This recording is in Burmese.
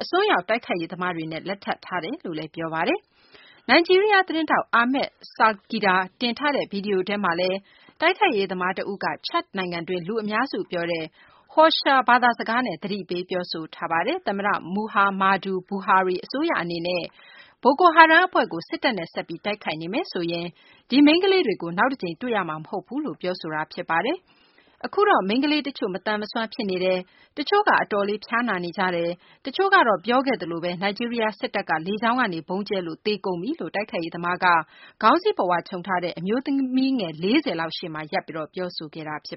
အစွန်းရောက် တိုက်ခိုက်ရေးသမားတွေနဲ့ လက်ထပ်ထားတယ် လို့လည်း ပြောပါ တယ်။ နိုင်ဂျီးရီးယားသတင်းထောက် Ahmad Salkida တင်ထားတဲ့ ဗွီဒီယိုထဲမှာလည်း တိုက်ခိုက်ရေးသမားတဦးက ချာဒ့်နိုင်ငံတွင်း လူများစုပြောဆိုတဲ့ Hausa ဘာသာ စကားနဲ့ သတိပေး ပြောဆိုထားပါတယ်။ သမ္မတ မူဟာမာဒူ ဘူဟာရီ အစိုးရအနေနဲ့ ဘိုကိုဟာရမ်းမ်အဖွဲ့ကို စစ်တပ်နဲ့ ဆက်ပြီး တိုက်ခိုက်နေမယ်ဆိုရင် ဒီမိန်းကလေးတွေကို နောက်တကြိမ် တွေ့ရတော့မှာမဟုတ်ဘူးလို့ ပြောဆိုပါတယ်။ အခုတော့ မိန်းကလေးတချို့ မသန်စွမ်းဖြစ်နေကြတယ်၊ တချို့က အတော်လေး ဖျားနာနေကြတယ်၊ တချို့ကတော့ ပြောခဲ့သလိုပဲ နိုင်ဂျီးရီးယားစစ်တပ် က လေကြောင်းကနေ ဗုံးကျဲလို့ သေကုန်ကြပြီလို့ တိုက်ခိုက်ရေးသမား က ခေါင်းစည်းပုဝါခြုံထားတဲ့ အမျိုးသမီးငယ် ၄၀ လောက်ရှေ့မှာ ရပ်ပြီး ပြောဆို ခဲ့တာပါ